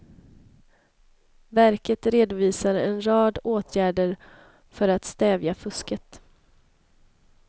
Verket redovisar en rad åtgärder för att stävja fusket.